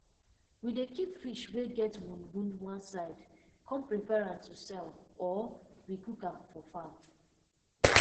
we dey keep fish wey get wound wound one side come prepare am to sell or we cook am chop for farm